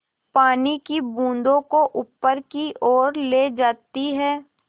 पानी की बूँदों को ऊपर की ओर ले जाती है